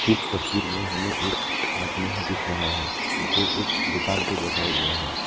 इस तस्वीर में हमें एक आदमी दिख रहा है जो एक दुकान पे बैठा हुआ है।